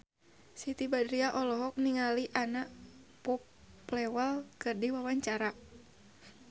Siti Badriah olohok ningali Anna Popplewell keur diwawancara